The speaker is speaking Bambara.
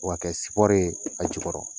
O ka kɛ sipɔri ye a jukɔrɔ.